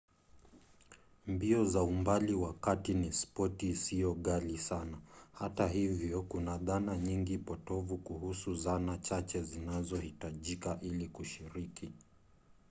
mbio za umbali wa kati ni spoti isiyo ghali sana; hata hivyo kuna dhana nyingi potovu kuhusu zana chache zinazohitajika ili kushiriki